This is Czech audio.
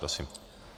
Prosím.